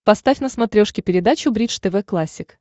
поставь на смотрешке передачу бридж тв классик